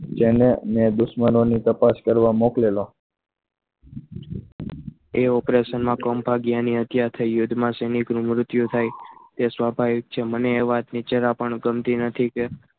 જેને મેં દુશ્મનાની તપાસ કરવા મોકલેલો એક operation માં કમભાગ્યની આજ્ઞા થઇ યજમાન શ્રી ની મૃત્યુ થઈ તે સ્વાભાવિક છે મને એ વાત ની જરા પણ ગમતી નથી કે